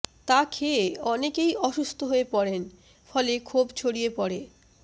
তা খেয়ে অনেকেই অসুস্থ হয়ে পড়েন ফলে ক্ষোভ ছড়িয়ে পড়ে